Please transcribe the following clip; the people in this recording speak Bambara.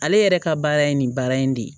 Ale yɛrɛ ka baara ye nin baara in de ye